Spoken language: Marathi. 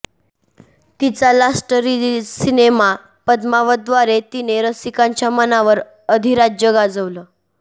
तिचा लास्ट रिलीज सिनेमा पदमावतद्वारे तिने रसिकांच्या मनावर अधिराज्य गाजवलं